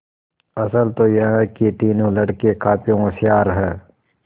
असल तो यह कि तीनों लड़के काफी होशियार हैं